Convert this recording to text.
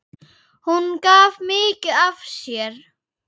Hún gaf mikið af sér.